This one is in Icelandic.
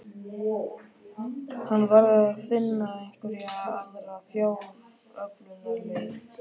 Hann varð að finna einhverja aðra fjáröflunarleið.